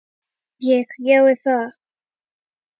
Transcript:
Ég: Já er það?